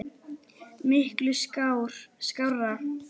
Miklu skárra.